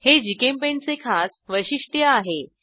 हे जीचेम्पेंट चे खास वैशिष्ट्य आहे